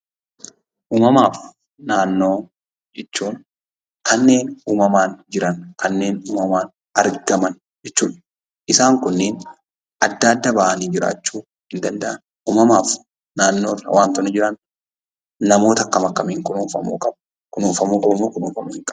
Uumamaafi naannoo jechuun kanneen uumamaan jiran kanneen uumamaan argaman jechuudha. Isaan kunniin adda adda ba'anii jiraachuu hin danda'an . Uumamaaf naannoon wantoonni jiran namoota akkam akkamiin kunuunfamuu qabu? kunuunfamuu qabumoo kunuunfamuu hinqaban?